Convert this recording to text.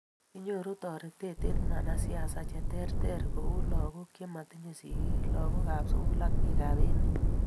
kinyoru toretet eng wanasiasa che ter ter ku lagook chematinyei sigiik, lagookab sugul ak bikap emet